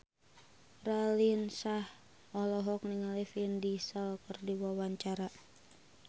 Raline Shah olohok ningali Vin Diesel keur diwawancara